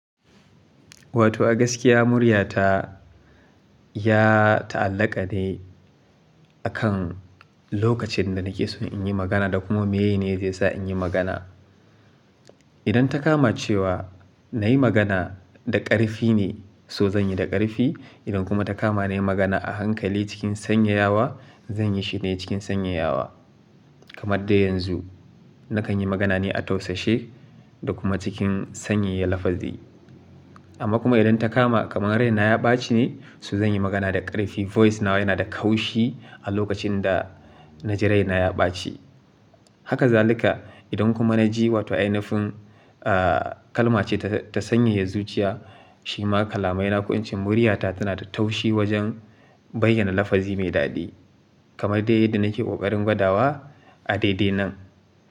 Wato gaskiya muryata ya ta'allaƙa ne a kan lokacin da nake so in yi magana da kuma meye ne zai sa in yi magana. Idan ta kama cewa na yi magana da ƙarfi ne, so zan yi da ƙarfi. Idan kuma ta kama na yi magana a hankali cikin sanyaya wa, zan yi shi ne cikin sanyaya wa. Kamar dai yanzu, nakan yi magana ne a tausashe da kuma cikin sanyaya lafazi. Amma kuma idan ta kama kamar raina ya ɓaci ne, so zan yi magana da ƙarfi. Voice nawa yana da kaushi a lokacin da na ji raina ya ɓaci. Haka zalika idan kuma na ji wato ainifin, ah kalma ce ta sanyaya zuciya, shi ma kalamai na ko in ce muryata tana da taushi wajen bayyana lafazi mai daɗi. Kamar dai yadda nake ƙoƙarin gwada wa a daidai nan.